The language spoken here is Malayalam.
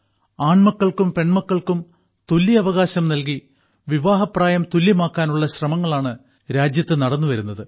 ആൺമക്കൾക്കും പെൺമക്കൾക്കും തുല്യ അവകാശം നൽകി വിവാഹപ്രായം തുല്യമാക്കാനുള്ള ശ്രമങ്ങളാണ് രാജ്യത്തു നടന്നു വരുന്നത്